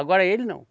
Agora ele não.